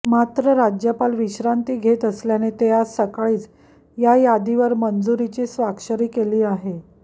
मात्र राज्यपाल विश्रांती घेत असल्याने ते आज सकाळीच या यादीवर मंजुरीची स्वाक्षरी केली आहे